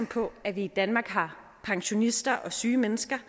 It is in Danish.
på at vi i danmark har pensionister og syge mennesker